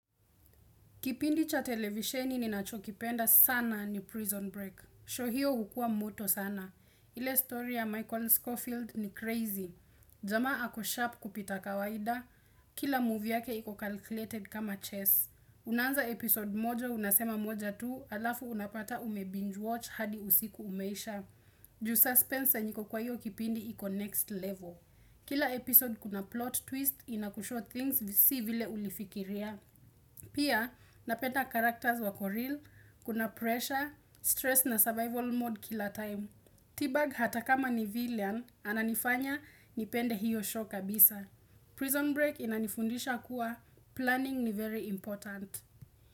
Kipindi cha televisheni ninacho kipenda sana ni prison break. 'Show' hiyo hukua moto sana. Ile story ya Michael Schofield ni crazy. Jamaa ako sharp kupita kawaida Kila movie yake iko calculated kama chess Unaanza episode moja unasema moja tu, alafu unapata ume binge watch hadi usiku umeisha Ju suspense yenye iko kwa hiyo kipindi iko next level Kila episode kuna plot twist inakushow things si vile ulifikiria Pia, napenda karakters wako real, kuna pressure, stress na survival mode kila time. T-bag hata kama ni villian, ananifanya nipende hiyo show kabisa Prison break inanifundisha kuwa, planning ni very important.